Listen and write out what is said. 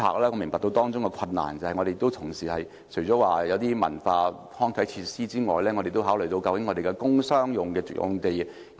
我明白到當中的困難，除了文化康體設施之外，同時亦需要考慮究竟如何使用本港的工商業用地。